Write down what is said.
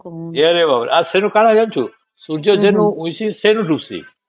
ଇରେ ବାପ ରେ ଆଉ ସେନେ କଣ ହେଲା ଜାଣିଚୁ ସୂର୍ଯ୍ୟ ଯେଉଁ ଉଇଁଷି ଵେନୁ ଢୁକୁସିଂ0